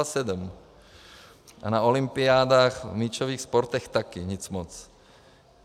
A na olympiádách v míčových sportech taky nic moc.